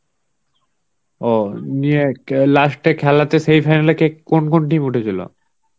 ও নিয়ে last এ খেলাতে semifinal এ কে কোন কোন team উঠেছিল?